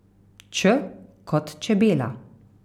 Č kot čebela.